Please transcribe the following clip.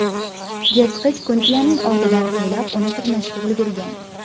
Yirtqich Kuntiyaning ortidan quvlab, uni tirnashga ulgurgan.